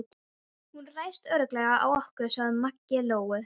Hún ræðst örugglega á okkur, sagði Maggi Lóu.